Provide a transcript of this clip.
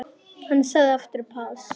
Hann sagði aftur pass.